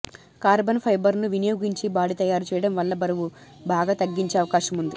carbon ఫైబర్ను వినియోగించి body తయారు చేయడం వల్ల బరువు బాగా తగ్గించే అవకాశముంది